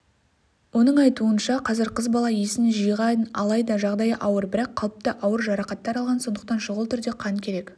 оның айтуынша қазір қыз бала есін жиған алайда жағдайы ауыр бірақ қалыпты ауыр жарақаттар алған сондықтан шұғыл түрде қан керек